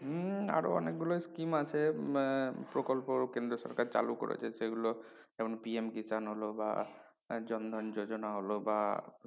উম আরো অনেকগুলো scheme আছে আহ প্রকল্প কেন্দ্রীয় সরকার চালু করেছে সেগুলো যেমন PM কি জানালো বা বা